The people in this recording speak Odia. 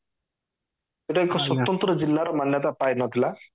ହେଲେ ଏକ ସ୍ଵତନ୍ତ୍ର ଜିଲ୍ଲା ର ମାନ୍ୟତା ପାଇନଥିଲା